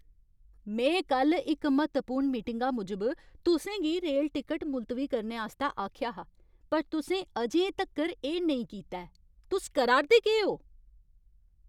में कल्ल इक म्हत्तवपूर्ण मीटिंगा मूजब तुसें गी रेल टिकट मुलतवी करने आस्तै आखेआ हा पर तुसें अजें तक्कर एह् नेईं कीता ऐ, तुस करा 'रदे केह् ओ?